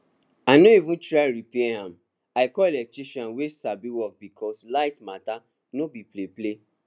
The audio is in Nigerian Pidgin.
i no even try repair am i call eletrician wey sabi work because light matter no be play play